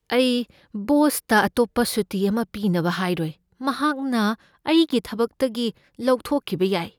ꯑꯩ ꯕꯣꯁꯇ ꯑꯇꯣꯞꯄ ꯁꯨꯇꯤ ꯑꯃ ꯄꯤꯅꯕ ꯍꯥꯏꯔꯣꯏ꯫ ꯃꯍꯥꯛꯅ ꯑꯩꯒꯤ ꯊꯕꯛꯇꯒꯤ ꯂꯧꯊꯣꯛꯈꯤꯕ ꯌꯥꯏ꯫